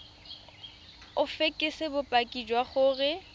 o fekese bopaki jwa gore